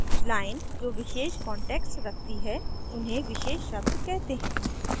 lines जो विशेष context रखती हैं उन्हें विशेष शब्द कहते हैं